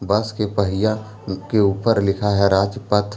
बस के पहिया के ऊपर लिखा है राज्य पथ।